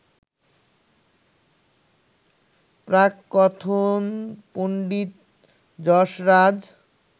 প্রাককথন Pandit Jasraj